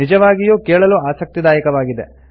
ನಿಜವಾಗಿಯೂ ಕೇಳಲು ಆಸಕ್ತಿದಾಯಕವಾಗಿದೆ